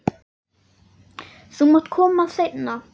Þú mátt koma seinna.